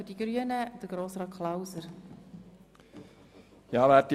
Für die Grünen hat Grossrat Klauser das Wort.